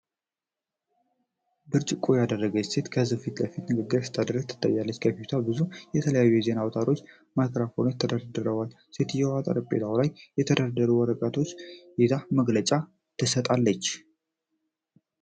ብርጭቆ ያደረገች ሴት በሕዝብ ፊት ንግግር ስታደርግ ትታያለች። በፊቷ ብዙ የተለያዩ የዜና አውታሮች ማይክሮፎኖች ተደርድረዋል፤ ሴትየዋ ጠረጴዛው ላይ የተደረደሩ ወረቀቶችን ይዛ መግለጫ ትሰጣለች።